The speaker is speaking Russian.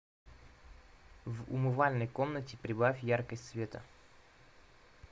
в умывальной комнате прибавь яркость света